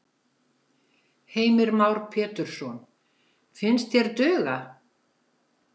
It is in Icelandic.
Heimir Már Pétursson: Finnst þér duga?